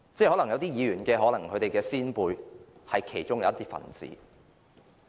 可能有些議員的先輩是其中一分子。